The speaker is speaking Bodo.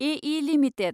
एइः लिमिटेड